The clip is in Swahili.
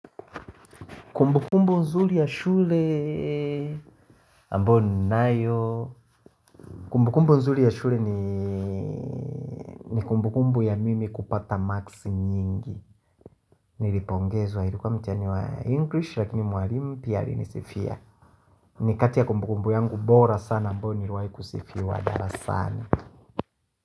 Kumbukumbu nzuri ya shule, ambao ni nayo, kumbukumbu nzurii ya shule ni ni kumbukumbu ya mimi kupata marks nyingi, nilipongezwa ilikuwa mtihani wa English lakini mwalimu pia alinisifia, nikati ya kumbukumbu yangu bora sana ambao niliwaikusifiwa darasani.